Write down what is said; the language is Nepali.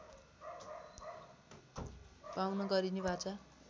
पाउन गरिने वाचा